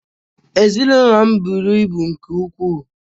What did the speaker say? Ezinụlọ m buru ibu nke ukwuu